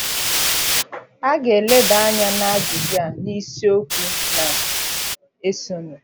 A ga - eleba anya n’ajụjụ a n’isiokwu na - esonụ.